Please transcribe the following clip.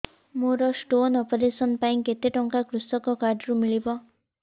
ମୋର stone operation ପାଇଁ କେତେ ଟଙ୍କା କୃଷକ କାର୍ଡ ରୁ ମିଳିବ